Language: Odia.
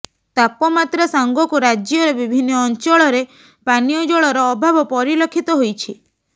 ତାପମାତ୍ରା ସାଙ୍ଗକୁ ରାଜ୍ୟର ବିଭିନ୍ନ ଅଞ୍ଚଳରେ ପାନୀୟ ଜଳର ଅଭାବ ପରିଲକ୍ଷିତ ହୋଇଛି